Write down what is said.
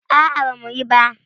A'a bama yi.